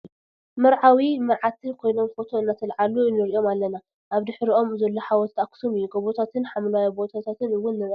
መርዓዊ መርዓትን ኮይኖም ፎቶ ኣናተላዕሉ ንእርዮም ኣለነ ። ኣብ ድሕርኦም ዘሎ ሓወልቲ ኣክሱም እዩ። ጎቦታትን ሓምለዋይ ቦታታት እውን ንረኢ ኣለና ።